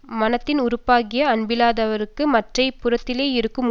மனத்தின் உறுப்பாகிய அன்பில்லாதவர்களுக்கு மற்றை புறத்திலே இருக்கும்